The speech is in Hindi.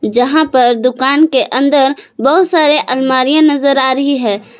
जहां पर दुकान के अंदर बहोत सारे अलमारियां नजर आ रही है।